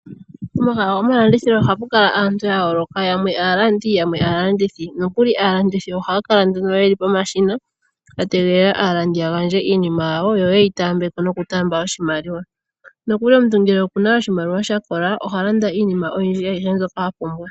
Pomahala gomalandithilo ohapu kala aantu ya yooloka, yamwe aalandi, yamwe aalandithi nokuli aalandithi ohaya kala nduno yeli pomashina ya tega aalandi ya lande iinima yawo, yo yeyi taambe ko noku taamba oshimaliwa. Noku li ngele omuntu oku na oshimaliwa sha kola oha landa iinima oyindji , ayihe mbyoka a pumbwa.